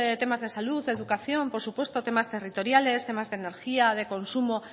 temas de salud educación por supuesto temas territoriales temas de energía de consumo